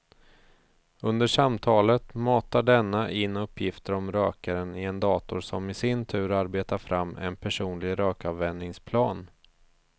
Under samtalet matar denna in uppgifter om rökaren i en dator som i sin tur arbetar fram en personlig rökavvänjningsplan.